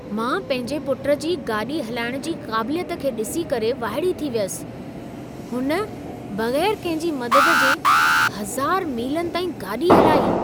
मां पंहिंजे पुटु जी गाॾी हलाइण जी क़ाबिलियत खे ॾिसी करे वाइड़ी थी वियसि! हुन बगै़रु किंहिं जी मददु जे 1000 मीलनि ताईं गाॾी हलाई।